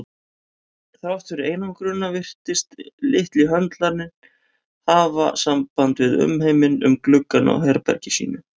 Þrátt fyrir einangrunina virtist litli höndlarinn hafa samband við umheiminn um gluggann á herbergi sínu.